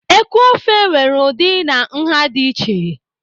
Eku ofe nwere ụdị na nha dị iche.